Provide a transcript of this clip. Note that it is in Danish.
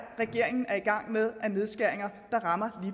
regeringen er i gang med af nedskæringer der rammer